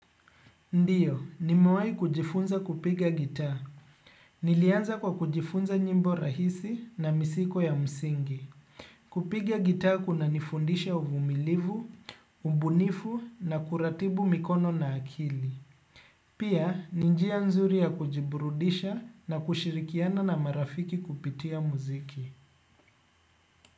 Ndiyo, nimewahi kujifunza kupiga gita. Nilianza kwa kujifunza nyimbo rahisi na misiko ya msingi. Kupiga gita kuna nifundisha uvumilivu, umbunifu na kuratibu mikono na akili. Pia, ninjia nzuri ya kujiburudisha na kushirikiana na marafiki kupitia muziki.